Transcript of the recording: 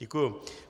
Děkuji.